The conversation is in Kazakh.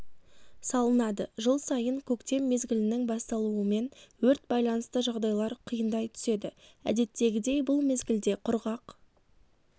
салынады жыл сайын көктем мезгілінің басталуымен өрт байланысты жағдайлар қиындай түседі әдеттегідей бұл мезгілде құрғақ